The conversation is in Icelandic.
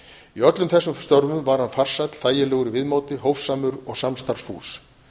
í öllum þessum störfum var hann farsæll þægilegur í viðmóti hófsamur og samstarfsfús